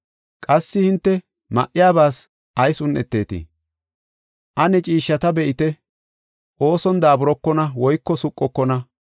“Qassi hinte ma7iyabaas ayis un7etetii? Ane ciishshata be7ite, ooson daaburokona woyko suqokona.